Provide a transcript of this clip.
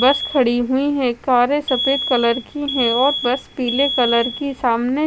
बस खड़ी हुई है कारे सफेद कलर की है और बस पीले कलर की सामने--